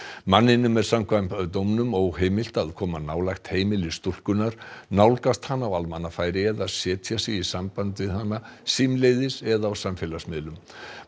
manninum er samkvæmt dóminum óheimilt að koma nálægt heimili stúlkunnar nálgast hana á almannafæri eða setja sig í samband við hana símleiðis eða á samfélagsmiðlum